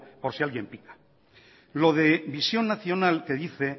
por si alguien pica lo de visión nacional que dice